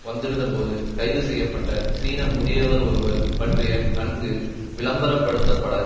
வந்திருந்தபோது கைதுசெய்ய பட்ட சீன முதியவர் ஒருவர் பற்றிய நன்கு விளம்பரப்படுத்தப்பட